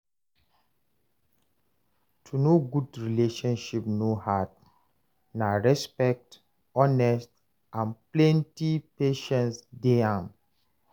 To know good relationship no hard, na respect, honesty, and plenty patience dey am.